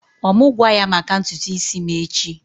Ọ mụ gwa ya maka ntutu isi m echi?